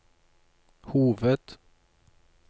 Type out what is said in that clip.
hoved